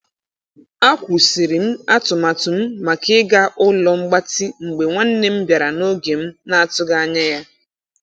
A kwusịrịm atụmatụ m maka ịga ụlo mgbatị mgbe nwanne m bịara na oge m na- atụghi ańya ya.